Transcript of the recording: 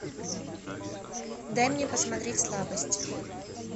дай мне посмотреть слабость